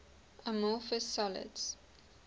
amorphous solids